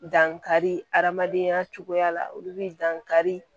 Dankari adamadenya cogoya la olu bɛ dankari